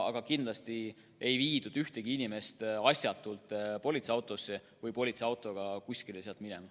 Aga kindlasti ei viidud ühtegi inimest asjatult politseiautosse või politseiautoga kuskile sealt minema.